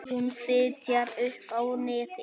Hún fitjar upp á nefið.